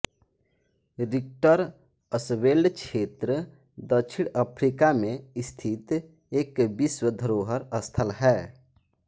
रिक्टरअसवेल्ड क्षेत्र दक्षिण अफ्रीका मे स्थित एक विश्व धरोहर स्थल है